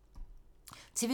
TV 2